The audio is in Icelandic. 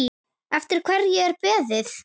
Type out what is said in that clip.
Eftir hverju er beðið?